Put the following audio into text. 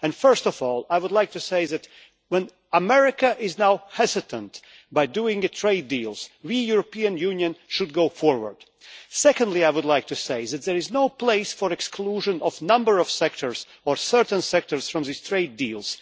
First of all, I would like to say that, as America is now hesitant about doing trade deals, we, the European Union, should go forward. Secondly, I would like to say that there is no place for the exclusion of a number of sectors, or certain sectors, from these trade deals.